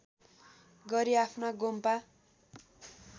गरी आफ्ना गोम्पा